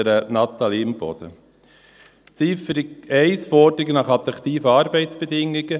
Ziffer 1, Forderung nach attraktiven Arbeitsbedingungen: